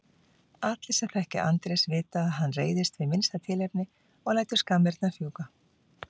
Allir sem þekkja Andrés vita að hann reiðist við minnsta tilefni og lætur skammirnar fjúka.